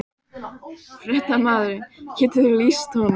Fréttamaður: Getur þú lýst honum?